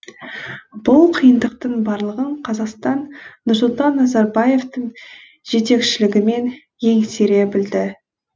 бұл қиындықтың барлығын қазақстан нұрсұлтан назарбаевтың жетекшілігімен еңсере білді